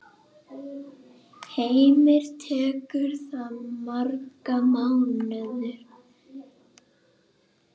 Heimir: Tekur það marga mánuði?